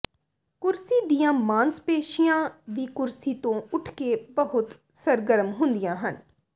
ਕੁਰਸੀ ਦੀਆਂ ਮਾਸਪੇਸ਼ੀਆਂ ਵੀ ਕੁਰਸੀ ਤੋਂ ਉੱਠ ਕੇ ਬਹੁਤ ਸਰਗਰਮ ਹੁੰਦੀਆਂ ਹਨ